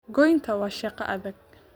Goynta waa shaqo adag